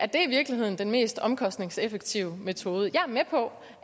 det i virkeligheden den mest omkostningseffektive metode jeg er med på